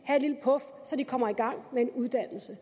lille puf så de kommer i gang med en uddannelse